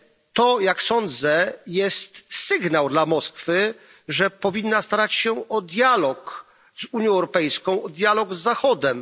To jak sądzę jest sygnał dla Moskwy, że powinna starać się o dialog z Unią Europejską, o dialog z Zachodem.